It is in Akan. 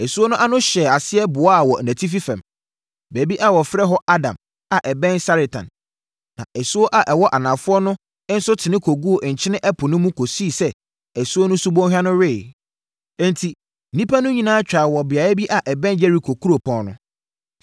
asuo no ano hyɛɛ aseɛ boaa wɔ nʼatifi fam, baabi a wɔfrɛ hɔ Adam a ɛbɛn Saretan. Na asuo a ɛwɔ anafoɔ no nso tene kɔguu Nkyene Ɛpo no mu kɔsii sɛ asuo no subɔnhwa no weeɛ. Enti, nnipa no nyinaa twaa wɔ beaeɛ bi a ɛbɛn Yeriko kuropɔn no.